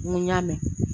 N ko y'a mɛn